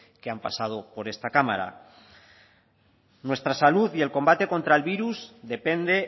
que han pasado por esta cámara nuestra salud y el combate contra el virus depende